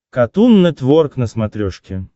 катун нетворк на смотрешке